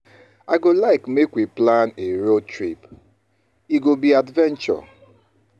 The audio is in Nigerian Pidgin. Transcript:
I go like make we plan a road trip; e go be adventure.